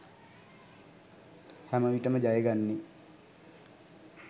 හැමවිටම ජයගන්නේ